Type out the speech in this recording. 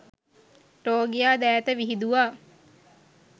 රෝගියා දෑත විහිදුවා